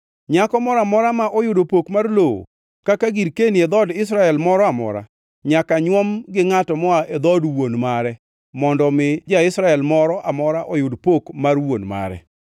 Nyako moro amora ma oyudo pok mar lowo kaka girkeni e dhood Israel moro amora nyaka nyuom gi ngʼato moa e dhood wuon mare, mondo omi ja-Israel moro amora oyud pok mar wuon mare.